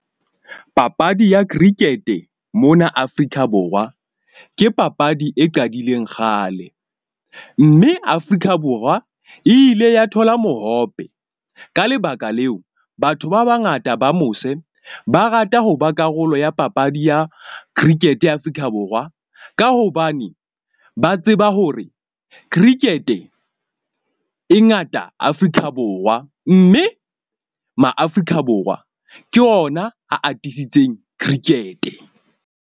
Papadi ya cricket-e mona Afrika Borwa ke papadi e qadileng kgale. Mme Afrika Borwa e ile ya thola mohope. Ka lebaka leo, batho ba bangata ba mose ba rata ho ba karolo ya papadi ya cricket-e ya Afrika Borwa. Ka hobane ba tseba hore cricket-e e ngata Afrika Borwa. Mme ma Afrika Borwa ke ona a atisitseng cricket-e.